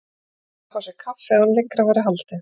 Hann ákvað að fá sér kaffi áður en lengra væri haldið.